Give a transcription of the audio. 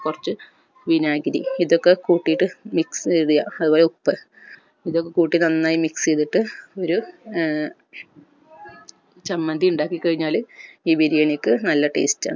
കൊർച്ച് വിനാഗിരി ഇത് ഒക്കെ കൂട്ടിട്ട് mix ചെയ്യ അത്പോലെ ഉപ്പ് ഇതൊക്കെ കൂട്ടി നന്നായി mix ചെയ്തിട്ട് ഒരു ഏർ ഒരു ചമ്മന്തി ഇണ്ടാക്കി കഴിഞ്ഞാൽ ഈ ബിരിയാണിക്ക് നല്ല taste ആ